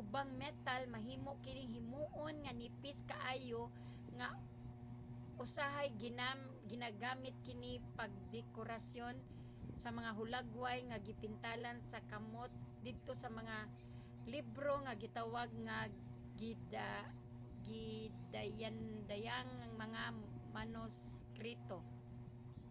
ubang metal. mahimo kining himoon nga nipis kaayo nga usahay gigamit kini pagdekorasyon sa mga hulagway nga gipintalan sa kamot didto sa mga libro nga gitawag nga gidayandayanang mga manuskrito